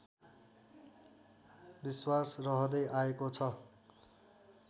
विश्वास रहँदै आएको छ